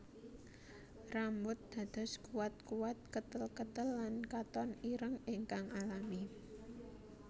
Rambut dados kuatkuat ketelketel lan katon ireng ingkang alami